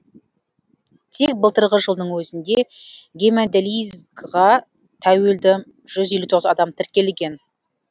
тек былтырғы жылдың өзінде гемодилизға тәуелді жүз елу тоғыз адам тіркелген